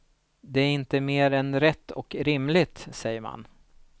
Det är inte mer än rätt och rimligt, säger man.